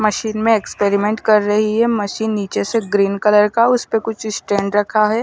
Machine में experiment कर रही है मशीन निचे से ग्रीन कलर का उस पे कुछ स्टैंड रखा है।